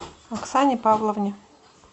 оксане павловне